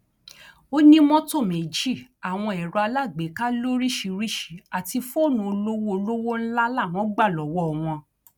ó ní mọtò méjì àwọn ẹrọ alágbèéká lóríṣìíríṣìí àti fóònù olówó olówó ńlá làwọn gbà lọwọ wọn